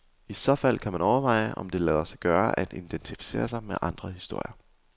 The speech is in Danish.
I så fald kan man overveje, om det lader sig gøre at identificere sig med andre historier.